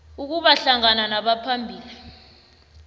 ukuba hlangana nabaphambili